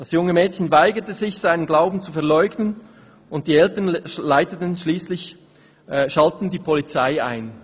Das junge Mädchen weigerte sich, seinen Glauben zu verleugnen, und die Eltern schalteten schliesslich die Polizei ein.›»